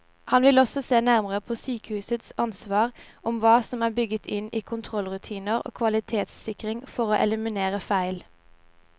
Han vil også se nærmere på sykehusets ansvar og hva som er bygget inn i kontrollrutiner og kvalitetssikring for å eliminere feil.